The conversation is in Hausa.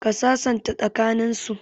Ka sasanta tsaka nin su